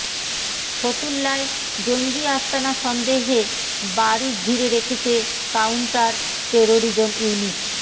ফতুল্লায় জঙ্গি আস্তানা সন্দেহে বাড়ি ঘিরে রেখেছে কাউন্টার টেরোরিজম ইউনিট